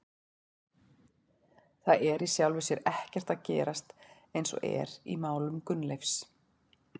Það er í sjálfu sér ekkert að gerast eins og er í málum Gunnleifs.